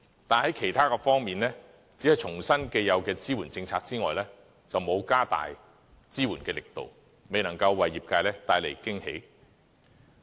但是，在其他方面，除了重申既有的支援政策之外，就沒有加大支援力度，未能夠為業界帶來驚喜。